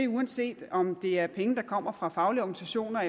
uanset om det er penge der kommer fra faglige organisationer